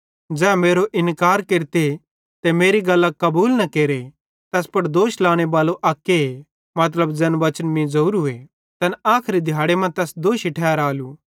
ज़ै मेरो इन्कार केरते ते मेरी गल्लां कबूल न केरे तैस पुड़ दोष लाने बालो अक्के मतलब ज़ैन वचन मीं ज़ोरूए तैन आखरी दिहाड़े तैस दोषी ठैरालू